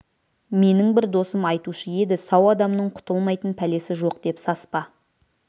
менің бір досым айтушы еді сау адамның құтылмайтын пәлесі жоқ деп саспа